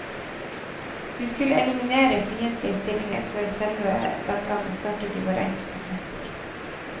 De skulle eliminere fiendtlige stillinger før selve landgangen startet i vår engelske sektor.